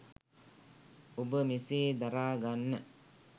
ඔබ මෙසේ දරාගන්න